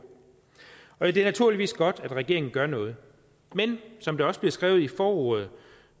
og det er naturligvis godt at regeringen gør noget men som der også bliver skrevet i forordet